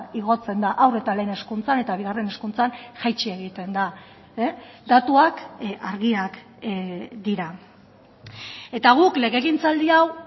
igotzen da haur eta lehen hezkuntzan eta bigarren hezkuntzan jaitsi egiten da datuak argiak dira eta guk legegintzaldi hau